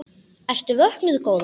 Ertu vöknuð góða?